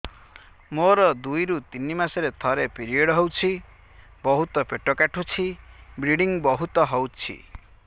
ମୋର ଦୁଇରୁ ତିନି ମାସରେ ଥରେ ପିରିଅଡ଼ ହଉଛି ବହୁତ ପେଟ କାଟୁଛି ବ୍ଲିଡ଼ିଙ୍ଗ ବହୁତ ହଉଛି